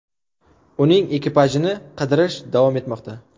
uning ekipajini qidirish davom etmoqda.